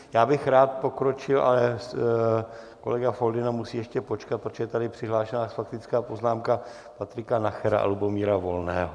Já bych rád pokročil, ale kolega Foldyna musí ještě počkat, protože je tady přihlášena faktická poznámka Patrika Nachera a Lubomíra Volného.